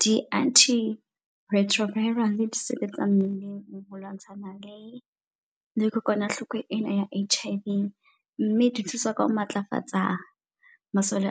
Di-anti retroviral le di sebetsa mmeleng ho lwantshana le le kokwanahloko ena ya H_I_V. Mme di thusa ka ho matlafatsa masole